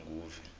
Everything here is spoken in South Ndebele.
esoshanguve